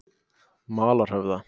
Malarhöfða